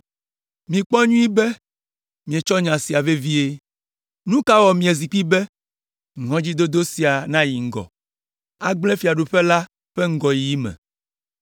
Mikpɔ nyuie be mietsɔ nya sia vevie. Nu ka wɔ miazi kpi be, ŋɔdzidodo sia nayi ŋgɔ, agblẽ fiaɖuƒe la ƒe ŋgɔyiyi me?